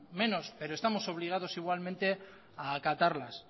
menos pero estamos obligados igualmente a acatarlas